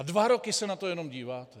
A dva roky se na to jenom díváte.